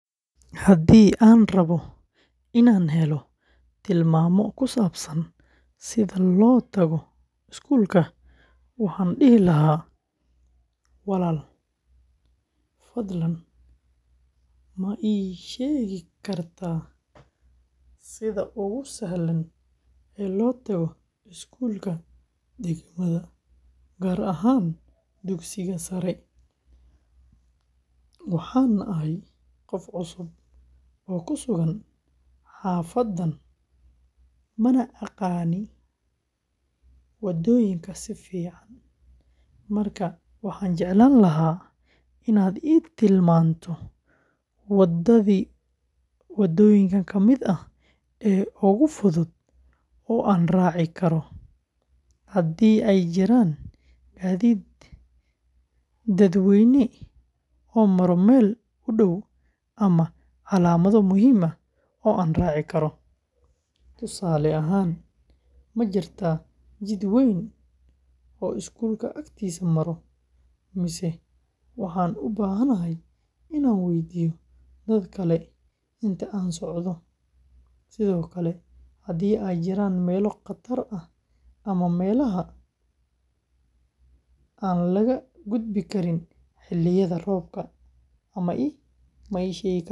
Haddii aan rabbo inaan helo tilmaamo ku saabsan sida loo tago iskuulka, waxaan dhihi lahaa: "Walaal, fadlan ma iiga sheegi kartaa sida ugu sahlan ee loo tago iskuulka degmada, gaar ahaan dugsiga sare. Waxaan ahay qof cusub oo ku sugan xaafaddan, mana aqaan waddooyinka si fiican, markaa waxaan jeclaan lahaa inaad ii tilmaanto wadooyin fudud oo aan raaci karo, haddii ay jiraan gaadiid dadweyne oo maro meel u dhow, ama calaamado muhiim ah oo aan raaci karo. Tusaale ahaan, ma jirtaa jid weyn oo iskuulka agtiisa maro, mise waxaan u baahanahay inaan weydiiyo dad kale inta aan socda? Sidoo kale, haddii ay jiraan meelo khatar ah ama meelaha aan laga gudbi karin xilliyada roobka, ma ii sheegi kartaa.